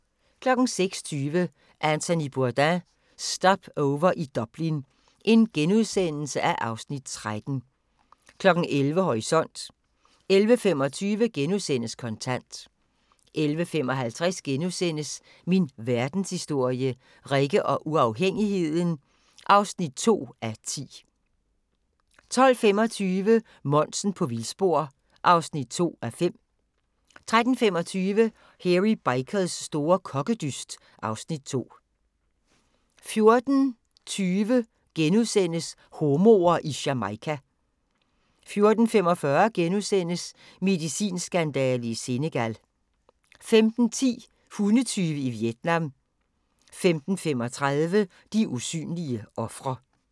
06:20: Anthony Bourdain - Stopover i Dublin (Afs. 13)* 11:00: Horisont 11:25: Kontant * 11:55: Min Verdenshistorie – Rikke og uafhængigheden (2:10)* 12:25: Monsen på vildspor (2:5) 13:25: Hairy Bikers store kokkedyst (Afs. 12) 14:20: Homoer i Jamaica * 14:45: Medicinskandale i Senegal * 15:10: Hundetyve i Vietnam 15:35: De usynlige ofre